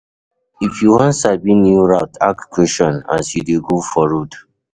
If you won sabi new route ask questions as you de go for road